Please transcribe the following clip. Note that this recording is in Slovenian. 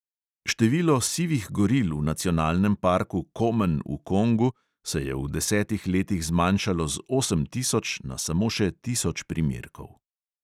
Število sivih goril v nacionalnem parku komen v kongu se je v desetih letih zmanjšalo z osem tisoč na samo še tisoč primerkov.